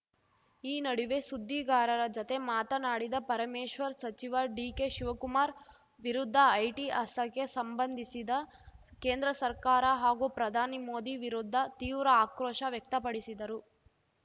ಈ ನಡುವೆ ಸುದ್ದಿಗಾರರ ಜತೆ ಮಾತನಾಡಿದ ಪರಮೇಶ್ವರ್‌ ಸಚಿವ ಡಿಕೆಶಿವಕುಮಾರ್‌ ವಿರುದ್ಧ ಐಟಿ ಅಸ್ತ್ರಕ್ಕೆ ಸಂಬಂಧಿಸಿದ ಕೇಂದ್ರ ಸರ್ಕಾರ ಹಾಗೂ ಪ್ರಧಾನಿ ಮೋದಿ ವಿರುದ್ಧ ತೀವ್ರ ಆಕ್ರೋಶ ವ್ಯಕ್ತಪಡಿಸಿದರು